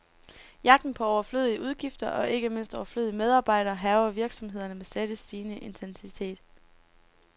Jagten på overflødige udgifter, og ikke mindst overflødige medarbejdere, hærger virksomhederne med stadig stigende intensitet.